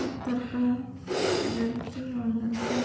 पत्थर का है लड़की और लड़का --